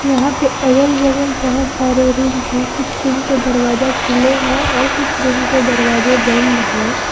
यहां पे अगल बगल बहोत सारे रूम है कुछ रूम के दरवाजा खुले हैं और कुछ रूम के दरवाजे बंद है।